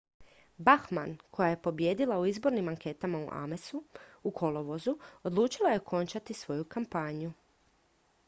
bachmann koja je pobijedila u izbornim anketama u amesu u kolovozu odlučila je okončati svoju kampanju